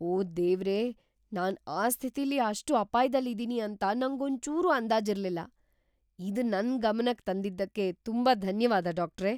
ಓ ದೇವ್ರೇ! ನಾನ್ ಆ ಸ್ಥಿತಿಲಿ ಅಷ್ಟ್ ಅಪಾಯ್‌ದಲ್ಲಿದೀನಿ ಅಂತ ನಂಗೊಂಚೂರೂ ಅಂದಾಜಿರ್ಲಿಲ್ಲ. ಇದ್ನ ನನ್ ಗಮನಕ್ ತಂದಿದ್ದಕ್ಕೆ ತುಂಬಾ ಧನ್ಯವಾದ, ಡಾಕ್ಟ್ರೇ!